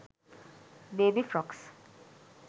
baby frocks